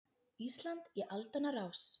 Ísland í aldanna rás.